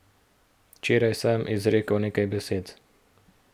Včeraj sem izrekel nekaj besed.